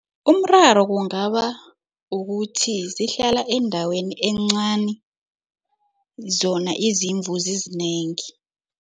Umraro kungaba ukuthi zihlala endaweni encani, zona izimvu zizinengi.